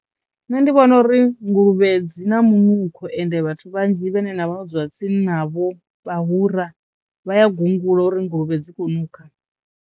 Nṋe ndi vhona uri nguluvhe dzi na munukho ende vhathu vhanzhi vhane na vho dzula tsini navho vhahura vha ya gungula uri nguluvhe dzi khou nukha.